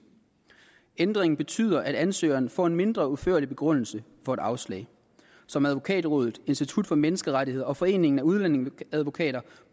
ændringen betyder at ansøgeren får en mindre udførlig begrundelse for et afslag som advokatrådet institut for menneskerettigheder og foreningen af udlændingeadvokater